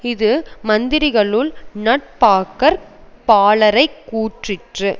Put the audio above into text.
இது மந்திரிகளுள் நட்பாக்கற் பாலரைக் கூற்றிற்று